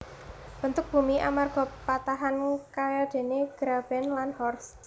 Bentuk bumi amarga patahan kayadéné graben lan horst